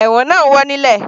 Ẹ̀wọ̀n náà ń wọ́ ilẹ̀.